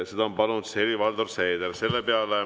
Seda on palunud Helir-Valdor Seeder.